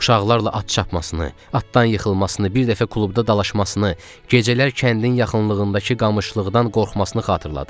Uşaqlarla at çapmasını, atdan yıxılmasını, bir dəfə klubda dalaşmasını, gecələr kəndin yaxınlığındakı qamışlıqdan qorxmasını xatırladı.